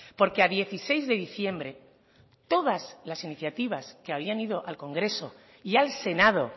porque a dieciséis de diciembre todas las iniciativas que habían ido al congreso y al senado